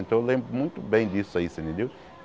Então eu lembro muito bem disso aí, você entendeu?